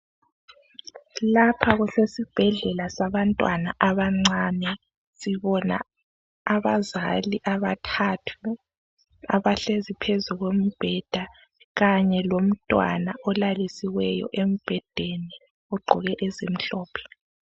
Lapha kusesibhedlela sabantwana abancane. Sibona abazali abathathu abahlezi phezu kombheda kanye lomntwana olalisiweyo embhedeni ogqoke ezimhlophe.